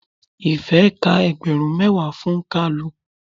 Ife ka ẹgbẹrun mẹwa fún kalu.